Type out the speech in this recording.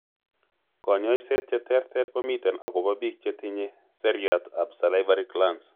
Kanyoiset cheterter komiten akobo biik chetinye seriat ab salivary glands